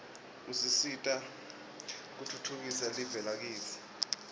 usita kutfhtfukisa live lakitsi